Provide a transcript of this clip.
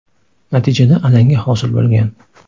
Natijada alanga hosil bo‘lgan.